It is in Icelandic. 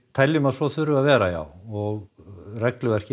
teljum að svo þurfi að vera já og regluverkið